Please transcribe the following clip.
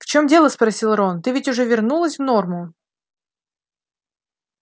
в чем дело спросил рон ты ведь уже вернулась в норму